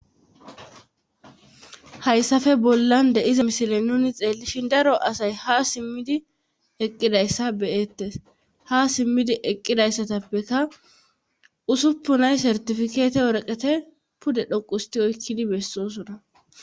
Hayssafe bollan deiza misile nuni xeellishin daro asay ha simmidi eqqidayssa beyettes ha simmidi eqqidayssatappeka usuppunay sertifikeete worqete pude dhoqusti oykkidi bessosona.